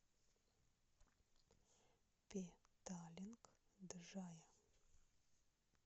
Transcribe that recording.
петалинг джая